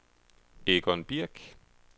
Egon Birk